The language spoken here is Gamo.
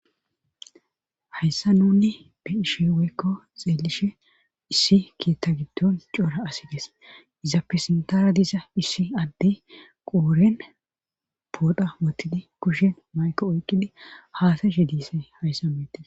hayssa nuni biishe weykko xeelishe issi kietta giddon coora asi gees izappe sintara diza issi addey qooren poodha wottidi kushen mayko oyqqidi haasa she diise hayssa meetes